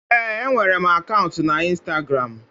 Ee, enwere m akaụntụ na Instagramu.